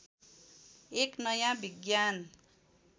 एक नयाँ विज्ञान